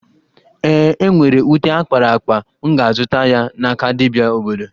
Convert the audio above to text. E nwere ute akpara akpa, m ga-azụta ya n'aka dibia obodo